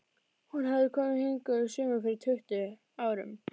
Hún hafði komið hingað um sumar fyrir tuttugu árum.